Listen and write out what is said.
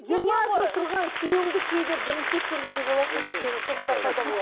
жиырма жыл тұрған күйеуімді кейде бірінші рет көргендей боласың бір кейбір қылықтары пайда болады